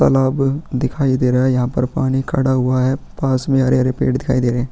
तालाब दिखाई दे रहा हैं यहाँ पर पानी खड़ा हुआ हैं पास मे हरे-हरे पेड़ दिखाई दें रहै हैं।